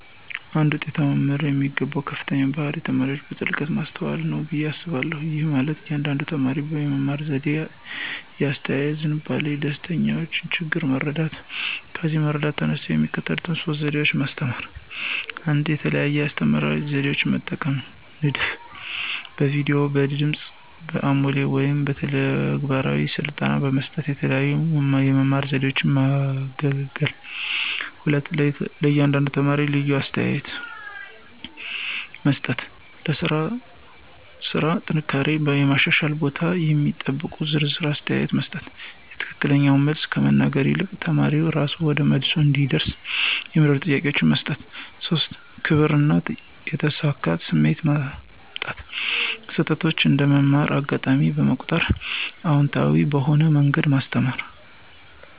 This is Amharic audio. አንድ ውጤታማ መምህር የሚገባው ከፍተኛው ባህሪ ተማሪዎችን በጥልቀት ማስተዋል ነው ብዬ አስባለሁ። ይህ ማለት የእያንዳንዱን ተማሪ የመማር ዘዴ፣ የአስተያየት ዝንባሌ፣ ደስታዎችና ችግሮች መረዳት ነው። ከዚህ መረዳት በመነሳት የሚከተሉት ሶስት ዘዴ ማስተማራ 1, የተለያዩ የአስተማራ ዘዴዎችን መጠቀም (ንድፍ)፣ በቪዲዮ፣ በድምጽ አሞሌ ወይም በተግባራዊ ስልጠና በመስጠት የተለያዩ የመማር ዘዴዎችን ማገለገል። 2, ለእያንዳንዱ ተማሪ ልዩ አስተያየት (ኮንስትራክቲቭ ፊድባክ) መስጠት · ለሥራው ስራ ጥንካሬውና የማሻሻል ቦታውን የሚጠቁም ዝርዝር አስተያየት መስጠት።· የትክክለኛውን መልስ ከመናገር ይልቅ ተማሪው እራሱ ወደ መልሱ እንዲደርስ የሚረዱ ጥያቄዎችን መጠየቅ። 3, የክብር እና የተሳካ ስሜት ማምጣት· ስህተቶችን እንደ መማር አጋጣሚ በመቁጠር አዎንታዊ በሆነ መንገድ ማስተካከል።